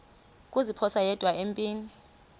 kuziphosa yedwa empini